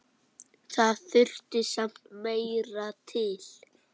Það þurfti samt meira til.